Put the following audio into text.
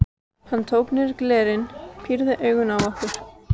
Hann tók niður glerin, pírði augun á okkur.